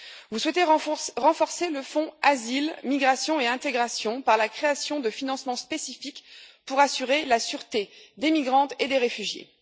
Vous souhaitez renforcer le fonds Asile, migration et intégration par la création de financements spécifiques pour assurer la sûreté des migrantes et des réfugiées.